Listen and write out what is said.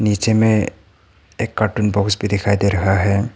नीचे मे एक कार्टून बॉक्स भी दिखाई दे रहा है।